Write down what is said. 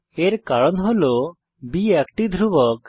এর কারণ হল বি একটি ধ্রুবক